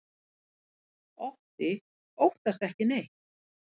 Otti óttast ekki neitt!